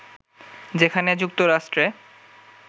যেখানে যুক্তরাষ্ট্রে